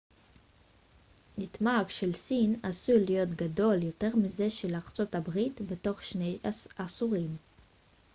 התמ ג של סין עשוי להיות גדול יותר מזה של ארצות הברית בתוך שני עשורים